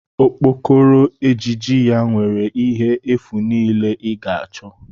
Okpokoro ejiji ya nwere ihe efu niile ị ga-achọ